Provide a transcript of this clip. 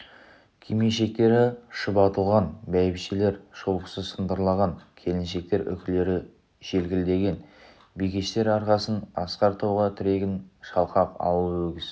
кимешектері шұбатылған бәйбішелер шолпысы сылдырлаған келіншектер үкілері желкілдеген бикештер арқасын асқар тауға тіреген шалқақ ауыл өгіз